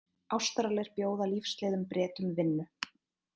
Ástralir bjóða lífsleiðum Bretum vinnu